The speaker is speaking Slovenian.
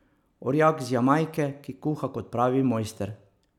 Orjak z Jamajke, ki kuha kot pravi mojster.